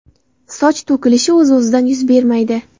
Soch to‘kilishi o‘z-o‘zidan yuz bermaydi.